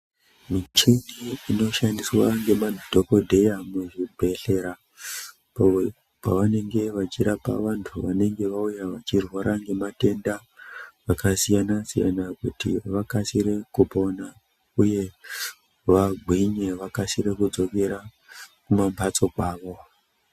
Michini inoshandiswa ngemadhogodheya muzvibhedhlera pavanenge vachirapa vantu vanenge vauya vachirwara ngematenda akasiyana-siyana kuti vakasire kupona uye vagwinye vakasire kudzokera kumambatso kwavo.